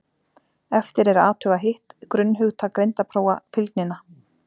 Eftir er að athuga hitt grunnhugtak greindarprófa, fylgnina.